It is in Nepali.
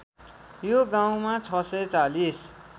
यो गाउँमा ६४०